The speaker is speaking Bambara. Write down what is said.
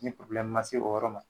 Ni ma se o yɔrɔ ma